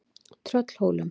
Tröllhólum